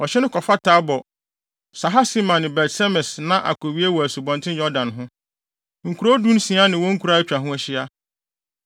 Ɔhye no kɔfa Tabor, Sahasima ne Bet-Semes na akowie wɔ Asubɔnten Yordan ho. Nkurow dunsia ne wɔn nkuraa a atwa ho ahyia.